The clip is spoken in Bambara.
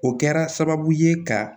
O kɛra sababu ye ka